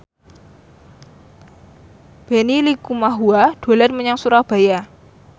Benny Likumahua dolan menyang Surabaya